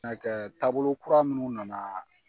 kɛ taabolo kura minnu na na